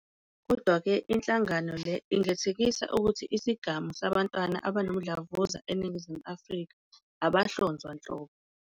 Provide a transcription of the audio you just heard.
Kodwa-ke, inhlangano le ingathekisa ukuthi isigamu sabantwana abanomdlavuza eNingizimu Afrika abahlonzwa nhlobo.